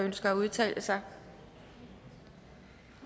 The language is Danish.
ønsker at udtale sig